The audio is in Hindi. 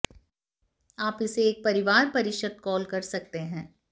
आप इसे एक परिवार परिषद कॉल कर सकते हैं